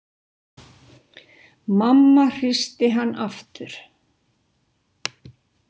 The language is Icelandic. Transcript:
Mamma hristi hann aftur.